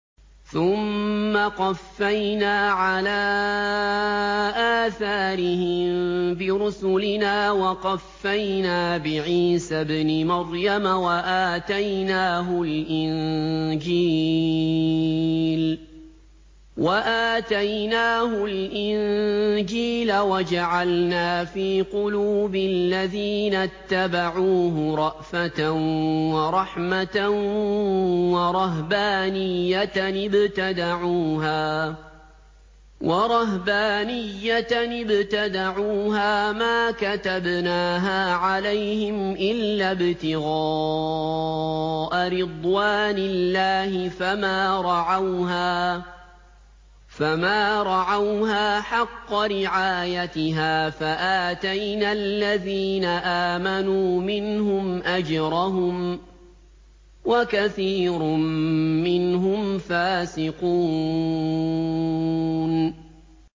ثُمَّ قَفَّيْنَا عَلَىٰ آثَارِهِم بِرُسُلِنَا وَقَفَّيْنَا بِعِيسَى ابْنِ مَرْيَمَ وَآتَيْنَاهُ الْإِنجِيلَ وَجَعَلْنَا فِي قُلُوبِ الَّذِينَ اتَّبَعُوهُ رَأْفَةً وَرَحْمَةً وَرَهْبَانِيَّةً ابْتَدَعُوهَا مَا كَتَبْنَاهَا عَلَيْهِمْ إِلَّا ابْتِغَاءَ رِضْوَانِ اللَّهِ فَمَا رَعَوْهَا حَقَّ رِعَايَتِهَا ۖ فَآتَيْنَا الَّذِينَ آمَنُوا مِنْهُمْ أَجْرَهُمْ ۖ وَكَثِيرٌ مِّنْهُمْ فَاسِقُونَ